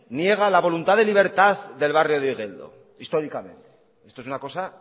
niega la voluntad de libertad del barrio de igeldo históricamente esto es una cosa